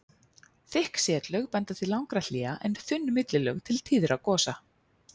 Þykk setlög benda til langra hléa en þunn millilög til tíðra gosa.